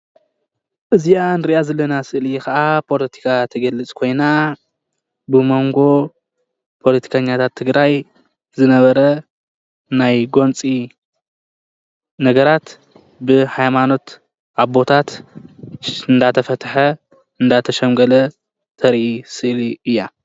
እዚኣ እንርኣ ዘለና ስእሊ ከዓ ፖለቲካ እትገልፅ ኮይና ብሞንጎ ፖለቲከኛታት ትግራይ ዝነበረ ናይ ጎንፂ ነገራት ብሃይማኖት ኣቦታት እንዳተፈተሓ እንዳተሸምገለ ተርኢ ስእሊ እያ፡፡